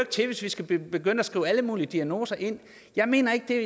til hvis vi skal begynde at skrive alle mulige diagnoser ind jeg mener ikke det